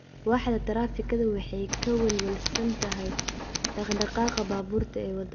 Waaxda taraafikada waxay ka welwelsan tahay dhaqdhaqaaqa baabuurta ee waddada.